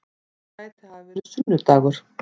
Það gæti hafa verið sunnu-dagur.